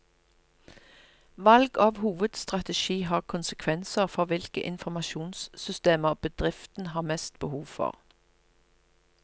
Valg av hovedstrategi har konsekvenser for hvilke informasjonssystemer bedriften har mest behov for.